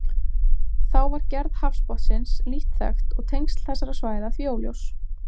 Þá var gerð hafsbotnsins lítt þekkt og tengsl þessara svæða því óljós.